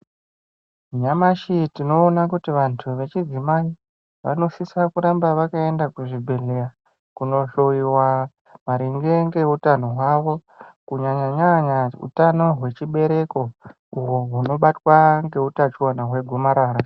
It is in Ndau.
Nyamashi tinoona kuti vanthu vechidzimai vanosisa kuramba vakaenda kuzvibhedhleya kunohloyiwa maringe ngeutano hwawo kunyanyanya utano hwechibereko uhwo hunobatwa ngeutachiona hwegomarara.